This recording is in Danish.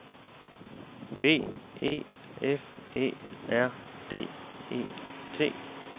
B E F Æ R D E T